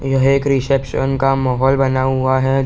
यह एक रिसेप्शन का माहौल बना हुआ है।